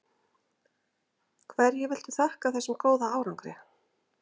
Hverju viltu þakka þessum góða árangri?